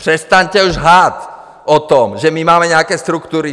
Přestaňte už lhát o tom, že my máme nějaké struktury!